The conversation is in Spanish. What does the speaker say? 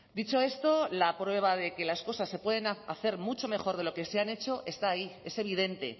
dicho esto la prueba de que las cosas se pueden hacer mucho mejor de lo que se han hecho está ahí es evidente